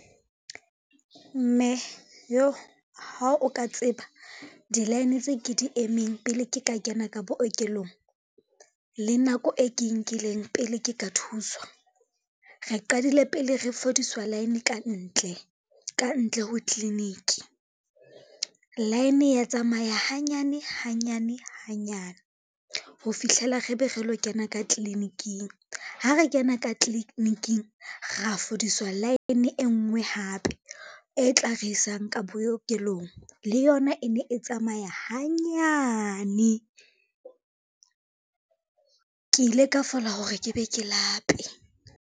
Mme yoh! Ha o ka tseba di-line tse ke di emeng pele, ke ka kena ka bookelong le nako e ke e nkileng pele ke ka thuswa. Re qadile pele re fodiswa line ka ntle, ka ntle ho tliliniki. Line e ya tsamaya hanyane, hanyane, hanyane ho fihlela re be re lo kena ka tliliniking. Ha re kena ka tliliniking, ra fodiswa line e ngwe hape e tla re isang ka bookelong le yona e ne e tsamaya hanyane. Ke ile ka fola hore ke be ke lape.